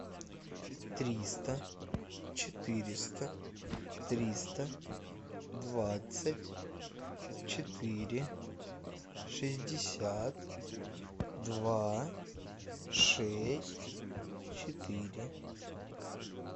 триста четыреста триста двадцать четыре шестьдесят два шесть четыре